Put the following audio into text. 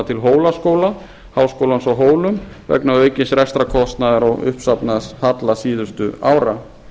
til hólaskóla háskólans á hólum vegna aukins rekstrarkostnaðar og uppsafnaðs halla síðustu ára